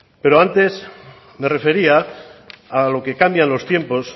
pero antes me refería a lo que cambian los tiempos